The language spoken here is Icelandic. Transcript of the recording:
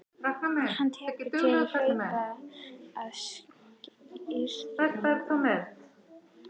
Hann tekur til við að hlaupa til að styrkja lungun.